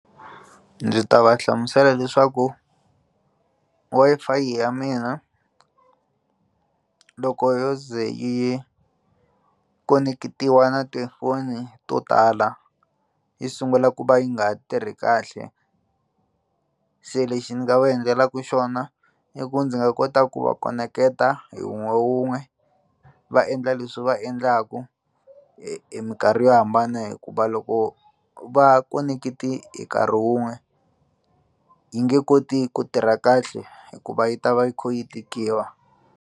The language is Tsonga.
Ndzi ta va hlamusela leswaku Wi-Fi ya mina loko yo ze yi koneketiwa na tifoni to tala yi sungula ku va yi nga ha tirhi kahle se lexi ni nga va endlelaka xona i ku ndzi nga kota ku va koneketa hi wun'we wun'we va endla leswi va endlaka hi minkarhi yo hambana hikuva loko va konekete hi nkarhi wun'we yi nge koti ku tirha kahle hikuva yi ta va yi kha yi tikiwa.